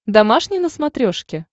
домашний на смотрешке